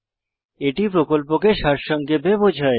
এটি প্রকল্পকে সারসংক্ষেপে বোঝায়